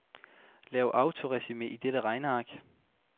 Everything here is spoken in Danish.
Lav autoresumé i dette regneark.